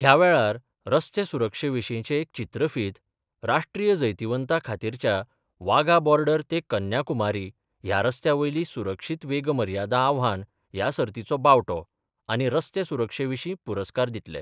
ह्या वेळार रस्ते सुरक्षे विशींचे एक चित्रफीत, राष्ट्रीय जैतिवंता खातीरच्या वाघा बॉर्डर ते कन्याकुमारी ह्या रस्त्या वयली सुरक्षीत वेग मर्यादा आव्हान ह्या सर्तीचो बावटो आनी रस्ते सुरक्षे विशीं पुरस्कार दितले.